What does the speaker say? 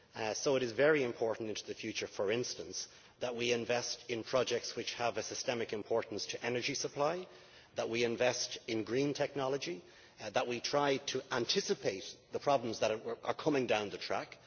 So it is very important in the future, for instance, that we invest in projects which have a systemic importance to energy supply, that we invest in green technology and that we try to anticipate the problems that are coming down the track.